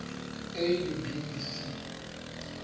a le b le c